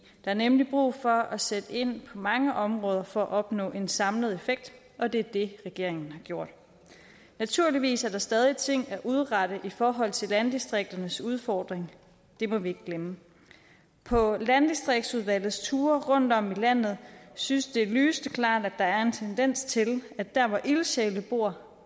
er nemlig brug for at sætte ind på mange områder for at opnå en samlet effekt og det er det regeringen har gjort naturligvis er der stadig ting at udrette i forhold til landdistrikternes udfordring det må vi ikke glemme på landdistriktsudvalgets ture rundtom i landet synes det lysende klart at der er en tendens til at der hvor ildsjælene bor